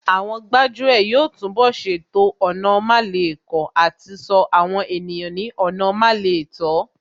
Àwọn gbájú ẹ̀ yóò túnbọ̀ ṣètò ọ̀nà málekọ̀ àti ṣọ́ àwọn ènìyàn ní ọ̀nà lámẹ́ẹ̀tọ́